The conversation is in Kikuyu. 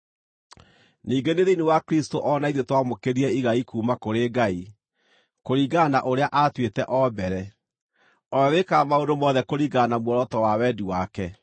Ningĩ nĩ thĩinĩ wa Kristũ o na ithuĩ twamũkĩrire igai kuuma kũrĩ Ngai, kũringana na ũrĩa aatuĩte o mbere, o we wĩkaga maũndũ mothe kũringana na muoroto wa wendi wake,